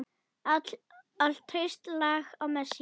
Allt traust lagt á Messi.